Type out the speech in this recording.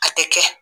A tɛ kɛ